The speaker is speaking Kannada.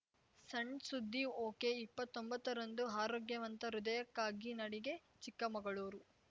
ಸಣ್‌ ಸುದ್ದಿ ಒಕೆ ಇಪ್ಪತೊಂಬತ್ತರಂದು ಆರೋಗ್ಯವಂತ ಹೃದಯಕ್ಕಾಗಿ ನಡಿಗೆ ಚಿಕ್ಕಮಗಳೂರು